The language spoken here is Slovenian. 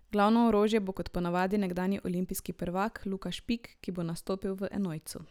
Glavno orožje bo kot ponavadi nekdanji olimpijski prvak Luka Špik, ki bo nastopil v enojcu.